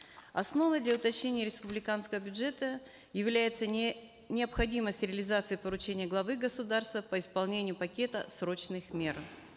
основой для уточнения республиканского бюджета является необходимость реализации поручения главы государства по исполнению пакета срочных мер